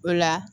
O la